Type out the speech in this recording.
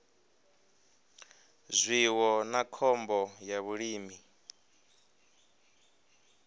zwiwo na khombo ya vhulimi